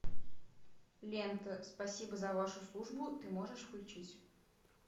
лента спасибо за вашу службу ты можешь включить